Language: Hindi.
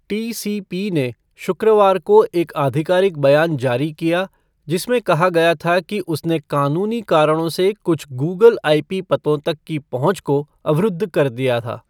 टीसीपी ने शुक्रवार को एक आधिकारिक बयान जारी किया, जिसमें कहा गया था कि उसने कानूनी कारणों से कुछ गूगल आईपी पतों तक की पहुंच को अवरुद्ध कर दिया था।